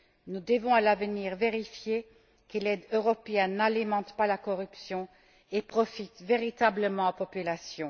Nous devons, à l'avenir, vérifier que l'aide européenne n'alimente pas la corruption et profite véritablement aux populations.